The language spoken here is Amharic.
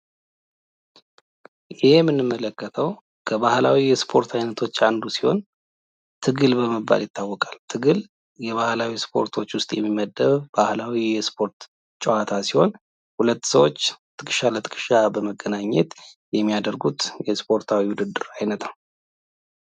ይህ በምስሉ ላይ የምንመለከተው ከባህላዊ የ እስፖርት አይነቶች መካከል አንዱ ሲሆን ፤ ትግል በመባል ይታወቃል። ትግል ከባህላዊ የእስፖርት አይነቶች መካከል የሚመደብ ባህላዊ የእስፖርት አይነት ሲሆን ሁለት ሰዎች ትከሻ ለትከሻ በመገናኘት የሚያደርጉት የውድድር አይነት ነው ።